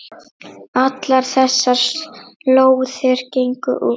Allar þessar lóðir gengu út.